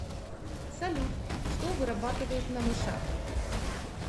салют что вырабатывают на мышах